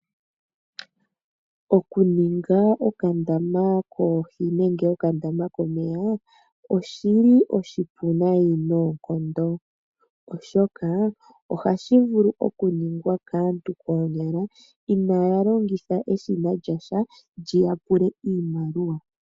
Okuninga okandama koohi nenge okandama komeya oshi li oshipu nayi noonkondo, oshoka ohashi vulu okuningwa kaantu koonyala ina ya longitha eshina lyasha, lyi ya pule iimaliwa.